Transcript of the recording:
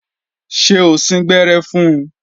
Ṣé o síngbẹ́rẹ́ fun?